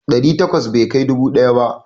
Ɗari takwas bai kai dubu ɗaya ba.